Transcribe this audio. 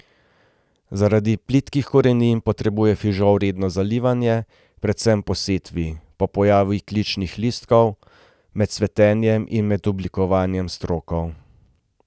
Zaradi plitvih korenin potrebuje fižol redno zalivanje, predvsem po setvi, ob pojavu kličnih listov, med cvetenjem in med oblikovanjem strokov.